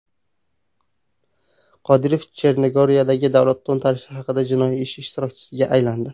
Qodirov Chernogoriyadagi davlat to‘ntarishi haqidagi jinoiy ish ishtirokchisiga aylandi.